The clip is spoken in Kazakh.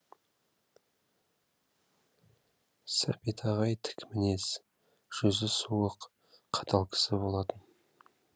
сәбит ағай тік мінез жүзі суық қатал кісі болатын